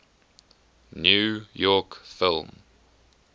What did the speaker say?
new york film